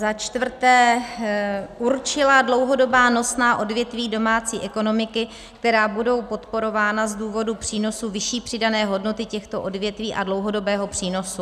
Za čtvrté: "určila dlouhodobá nosná odvětví domácí ekonomiky, která budou podporována z důvodu přínosu vyšší přidané hodnoty těchto odvětví a dlouhodobého přínosu."